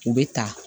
U bɛ ta